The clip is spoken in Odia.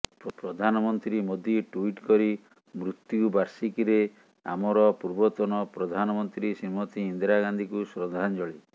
ପ୍ରଧାନମନ୍ତ୍ରୀ ମୋଦି ଟୁଇଟ୍ କରିମୃତ୍ୟୁ ବାର୍ଷିକୀରେ ଆମର ପୂର୍ବତନ ପ୍ରଧାନମନ୍ତ୍ରୀ ଶ୍ରୀମତୀ ଇନ୍ଦିରା ଗାନ୍ଧୀଙ୍କୁ ଶ୍ରଦ୍ଧାଞ୍ଜଳି